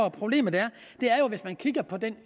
at problemet er er at hvis man kigger på den